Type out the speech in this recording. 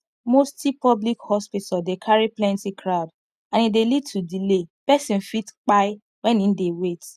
mosty public hospital dey carry plenty crowd and e dey lead to delay person fit kpai when im dey wait